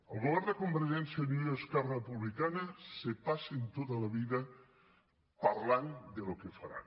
el govern de convergència i unió i esquerra republicana se passen tota la vida parlant del que faran